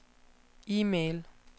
e-mail